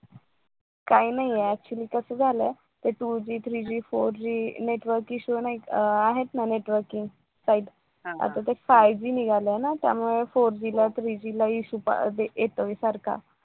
काही नाही ते actually कस झालय ते two Gthree Gfour Gnetwork issue अह आहेत ना network चे type आता ते five G निघालाय ना त्यामुळे four Gthree G ला issue येतोय सारखा